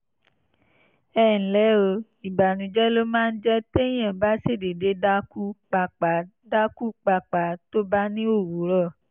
ẹ ǹlẹ́ o! ìbànújẹ́ ló máa ń jẹ́ téèyàn bá ṣàdédé dákú pàápàá dákú pàápàá tó bá ní òwúrọ̀